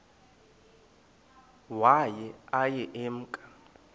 waye aye emke